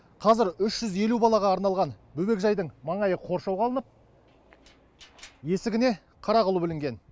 қазір үш жүз елу балаға арналған бөбекжайдың маңайы қоршауға алынып есігіне қара құлып ілінген